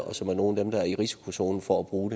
og som er nogle af dem der er i risikozonen for at bruge